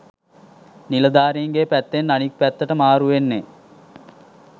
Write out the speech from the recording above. නිලධාරීන්ගේ පැත්තෙන් අනික් පැත්තට මාරු වෙන්නේ.